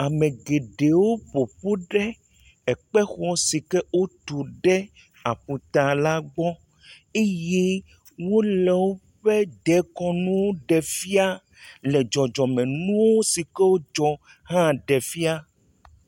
Ame geɖewo ƒo ƒu ɖe ekpexɔ si ke wotu ɖe aƒutala gbɔ eye wole woƒe dekɔnu ɖe fia. Le dzɔdzɔmenuwo si ke dzɔ hã ɖe fia.